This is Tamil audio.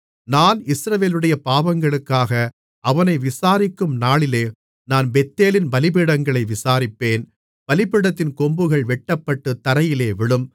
நான் இஸ்ரவேலுடைய பாவங்களுக்காக அவனை விசாரிக்கும் நாளிலே நான் பெத்தேலின் பலிபீடங்களை விசாரிப்பேன் பலிபீடத்தின் கொம்புகள் வெட்டப்பட்டு தரையிலே விழும்